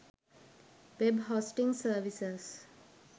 web hosting services